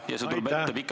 Aitäh!